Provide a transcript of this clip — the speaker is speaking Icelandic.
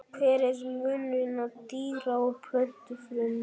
Hver er munurinn á dýra- og plöntufrumum?